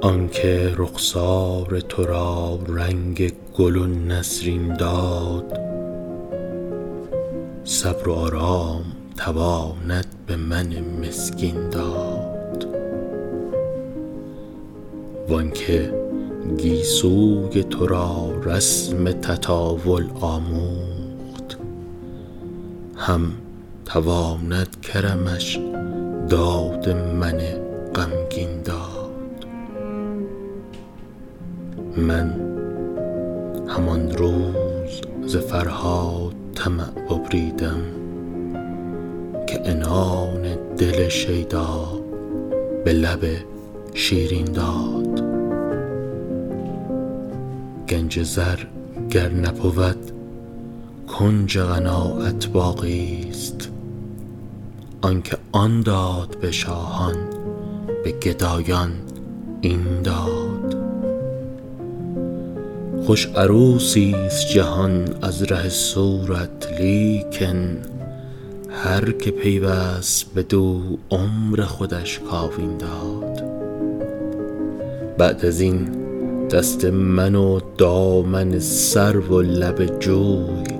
آن که رخسار تو را رنگ گل و نسرین داد صبر و آرام تواند به من مسکین داد وان که گیسوی تو را رسم تطاول آموخت هم تواند کرمش داد من غمگین داد من همان روز ز فرهاد طمع ببریدم که عنان دل شیدا به لب شیرین داد گنج زر گر نبود کنج قناعت باقیست آن که آن داد به شاهان به گدایان این داد خوش عروسیست جهان از ره صورت لیکن هر که پیوست بدو عمر خودش کاوین داد بعد از این دست من و دامن سرو و لب جوی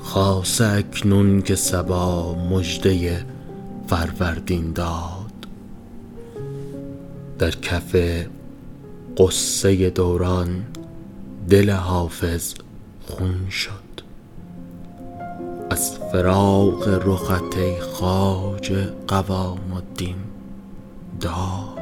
خاصه اکنون که صبا مژده فروردین داد در کف غصه دوران دل حافظ خون شد از فراق رخت ای خواجه قوام الدین داد